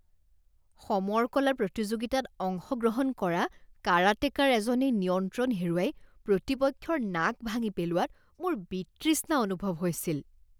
সমৰ কলা প্ৰতিযোগিতাত অংশগ্ৰহণ কৰা কাৰাটেকাৰ এজনে নিয়ন্ত্ৰণ হেৰুৱাই প্ৰতিপক্ষৰ নাক ভাঙি পেলোৱাত মোৰ বিতৃষ্ণা অনুভৱ হৈছিল।